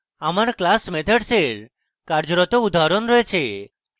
আমার class methods কার্যরত উদাহরণ রয়েছে